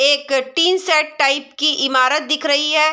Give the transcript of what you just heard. एक tin shed type इमारत दिख रही है।